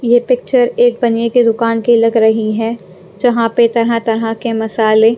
ये पिक्चर एक बनिए की दुकान की लग रही है जहाँ पे तरह-तरह के मसाले--